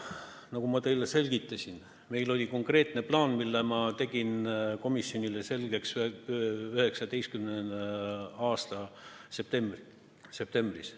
Nagu ma teile selgitasin, meil oli konkreetne plaan, mille ma tegin komisjonile selgeks 2019. aasta septembris.